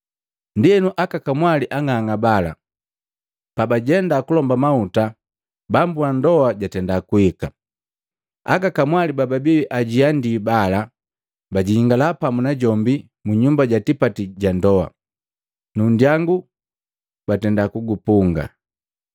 Ndienu aka kamwali ang'ang'a bala pabajenda kulomba mahuta, bambu ndoa jatenda kuhika, aka kamwali bababi ajiandii bala, bajingala pamu najombi mu nyumba ja tipati ga ndoa, nu nndyangu batenda kuupunga.